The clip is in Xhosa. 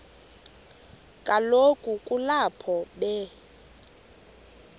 kaloku kulapho be